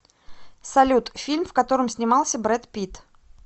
салют фильм в котором снимался брэд питт